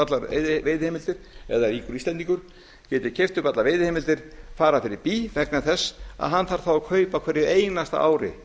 allar veiðiheimildir eða einhver íslendingur geti keypt upp allar veiðiheimildir fara fyrir bí vegna þess að hann þarf þá að kaupa á hverju einasta ári